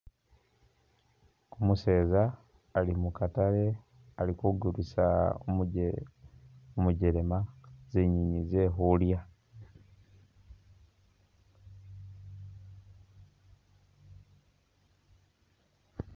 Umuseeza ali mukaatale ali kugulisa umujelema zinyeenyi zekhulya .